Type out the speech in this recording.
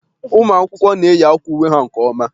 Ụmụ akwụkwọ na-eyi akwa uwe ha nke ọma